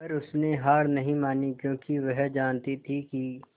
पर उसने हार नहीं मानी क्योंकि वह जानती थी कि